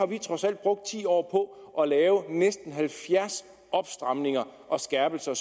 vi har trods alt brugt ti år på at lave næsten halvfjerds opstramninger og skærpelser